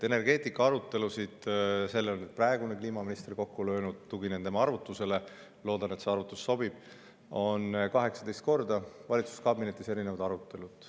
Energeetika arutelusid – selle on praegune kliimaminister kokku löönud, tuginen tema arvutusele, loodan, et see arvutus sobib – on valitsuskabinetis 18 korda olnud.